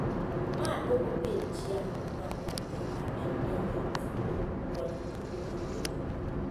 Ma duoko piny chia mar nyathi ka en ei ot, skul, kod kotugo gi jowetegi.